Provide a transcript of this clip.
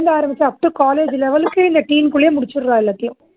ஆரமிச்சு up to college level க்கு இந்த teen குள்ளயே முடிச்சுர்றா எல்லாத்தையும்